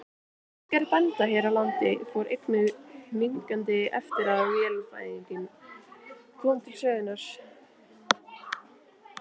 Útgerð bænda hér á landi fór einnig hnignandi eftir að vélvæðingin kom til sögunnar.